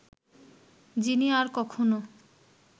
যিনি আর কখনো